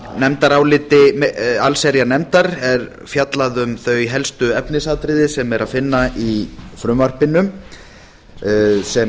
nefndaráliti allsherjarnefndar er fjallað um þau helstu efnisatriði sem er að finna í frumvarpinu sem